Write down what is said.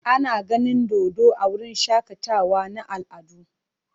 Ana ganin dodo a wurin shakatawa na al'adu.